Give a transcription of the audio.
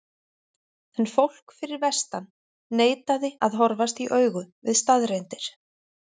En fólk fyrir vestan neitaði að horfast í augu við staðreyndir.